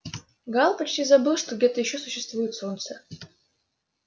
гаал почти забыл что где-то ещё существует солнце